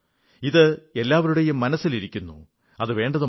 ഇത് എല്ലാവരുടെയും മനസ്സിലിരിക്കുന്നു അതു വേണ്ടതുമാണ്